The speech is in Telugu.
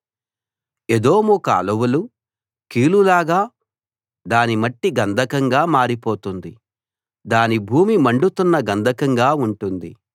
ఎదోము కాలువలు కీలులాగా దాని మట్టి గంధకంగా మారిపోతుంది దాని భూమి మండుతున్న గంధకంగా ఉంటుంది